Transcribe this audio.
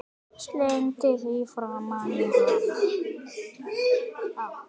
Slengdi því framan í hann.